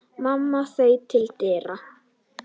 Mamma þaut til dyra.